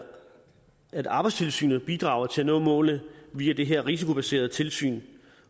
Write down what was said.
at arbejdstilsynet bidrager til at nå målene via det her risikobaserede tilsyn